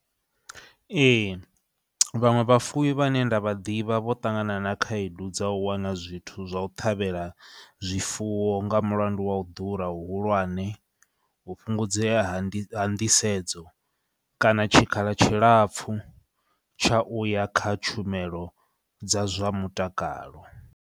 Ee, vhaṅwe vhafuwi vhane nda vha ḓivha vho ṱangana na khaedu dza u wana zwithu zwa u ṱhavhela zwifuwo nga mulandu wa u ḓura hu hulwane, u fhungudzea ha ndi nḓisedzo, kana tshikhala tshilapfhu tsha uya kha tshumelo dza zwa mutakalo.